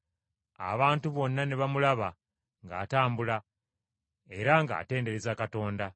Abantu bonna ne baamulaba ng’atambula, era ng’atendereza Katonda,